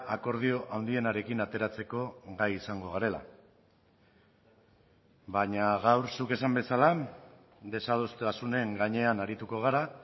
akordio handienarekin ateratzeko gai izango garela baina gaur zuk esan bezala desadostasunen gainean arituko gara